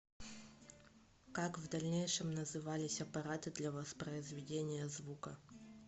как в дальнейшем назывались аппараты для воспроизведения звука